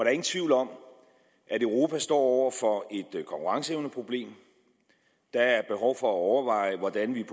er ingen tvivl om at europa står over for et konkurrenceevneproblem der er behov for at overveje hvordan vi